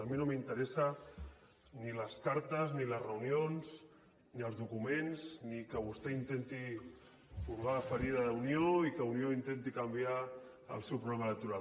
a mi no m’interessen ni les cartes ni les reunions ni els documents ni que vostè intenti furgar en la ferida d’unió i que unió intenti canviar el seu programa electoral